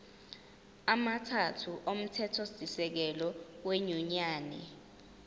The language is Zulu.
amathathu omthethosisekelo wenyunyane